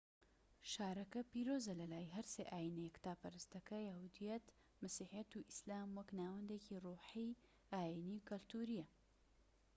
شارەکە پیرۆزە لە لای هەر سێ ئاینە یەکتاپەرستەکە یەهودیەت مەسیحیەت و ئیسلام وەک ناوەندێکی ڕۆحی ئاینیی و کەلتوریە